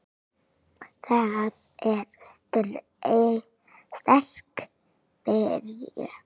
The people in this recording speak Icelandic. Þetta er sterk byrjun.